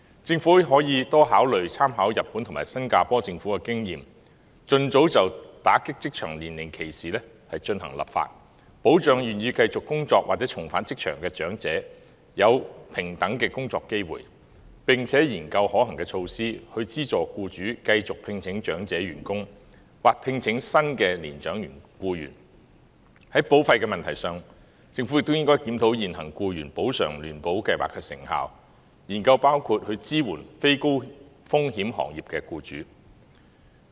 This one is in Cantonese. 政府可以多考慮參考日本及新加坡政府的經驗，盡早就打擊職場年齡歧視進行立法，保障願意繼續工作或重返職場的長者享有平等的工作機會，並研究可行措施，以資助僱主繼續聘請長者員工或聘請新的年長僱員；在保費問題上，政府亦應檢討現行僱員補償聯保計劃的成效，研究支援非高風險行業的僱主。